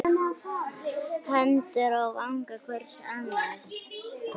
Hendur á vanga hvors annars.